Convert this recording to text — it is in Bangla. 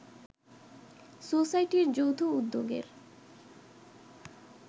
সোসাইটির যৌথ উদ্যোগের